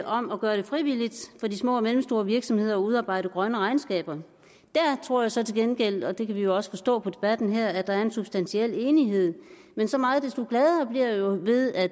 om at gøre det frivilligt for de små og mellemstore virksomheder at udarbejde grønne regnskaber der tror jeg så til gengæld og det kan vi jo også forstå på debatten her at der er en substantiel uenighed men så meget desto gladere bliver jeg jo ved at